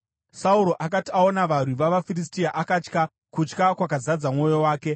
Sauro akati aona varwi vavaFiristia, akatya; kutya kwakazadza mwoyo wake.